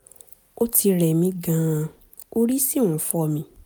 ó ti rẹ̀ mí gan-an orí sì ń fọ́ mi